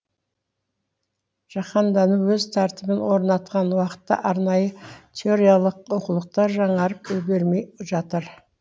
жаһандану өз тәртібін орнатқан уақытта арнайы теориялық оқулықтар жаңарып үлгермей жатыр